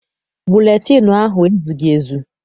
Buletịịnụ ahụ ezughị ezu.